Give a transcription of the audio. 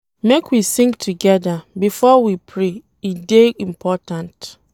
Make we sing togeda before we pray, e dey important.